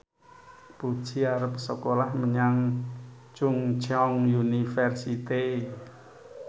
Puji arep sekolah menyang Chungceong University